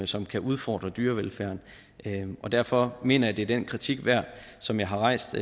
som kan udfordre dyrevelfærd derfor mener jeg at det er den kritik værd som jeg har rejst